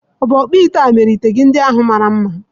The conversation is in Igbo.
Ọ̀ bụ ọkpụite a mere ite gị ndị ahu mara mma?